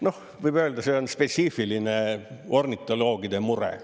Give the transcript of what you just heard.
Noh, võib öelda, et see on spetsiifiline, ornitoloogide mure.